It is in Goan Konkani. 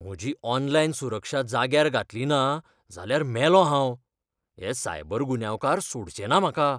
म्हजी ऑनलायन सुरक्षा जाग्यार घातली ना जाल्यार मेलों हांव. हे सायबर गुन्यांवकार सोडचे ना म्हाका.